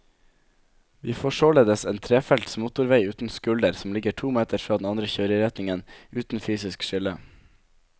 Vi får således en trefelts motorvei uten skulder som ligger to meter fra den andre kjøreretningen, uten fysisk skille.